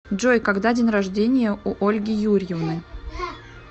джой когда день рождения у ольги юрьевны